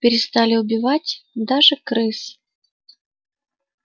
перестали убивать даже крыс